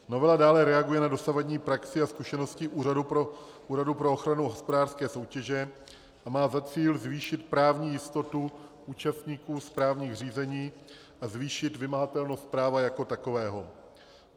Novela dále reaguje na dosavadní praxi a zkušenosti Úřadu pro ochranu hospodářské soutěže a má za cíl zvýšit právní jistotu účastníků správních řízení a zvýšit vymahatelnost práva jako takového.